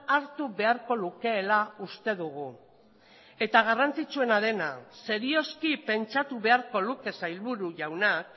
hartu beharko lukeela uste dugu eta garrantzitsuena dena serioski pentsatu beharko luke sailburu jaunak